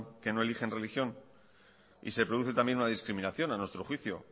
que no eligen religión y se produce también una discriminación a nuestro juicio